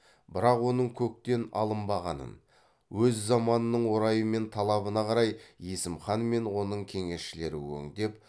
бірақ оның көктен алынбағанын өз заманының орайы мен талабына қарай есім хан мен оның кеңесшілері өңдеп